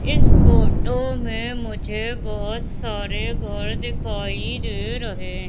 इस फोटो मे मुझे बहोत सारे घर दिखाई दे रहे--